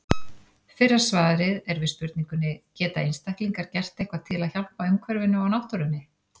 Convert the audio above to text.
Fyrra svarið er við spurningunni Geta einstaklingar gert eitthvað til að hjálpa umhverfinu og náttúrunni?